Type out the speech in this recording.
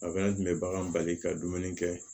kun bɛ bagan bali ka dumuni kɛ